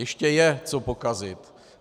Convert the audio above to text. Ještě je co pokazit.